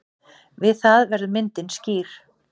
Við það verður myndin skýr.